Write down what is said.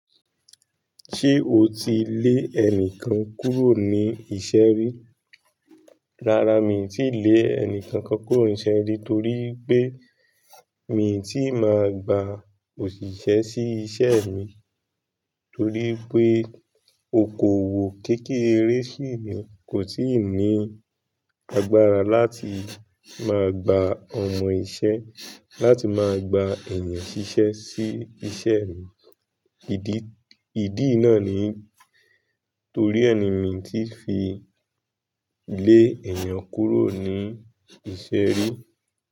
Ṣé o ti lé ẹni kan kúrò ní iṣẹ́ rí? Rárá, mi tíì lé ẹni kankan kúrò ní iṣẹ́ rí torí pé mi ò tí máa gba òṣìṣẹ́ sí iṣẹ́ mi. Torí pé okòwò kékeré ṣì ni, kò ti ní agbára láti máa gba ọmọ iṣẹ́, láti máa gba ènìyàn ṣiṣẹ́ sí iṣẹ́ mi. Ìdí, ìdí náà ni torí ẹni mi tí fi lé ènìyàn kúrò ní iṣẹ́ rí.